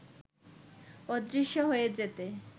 অদৃশ্য হয়ে যেতে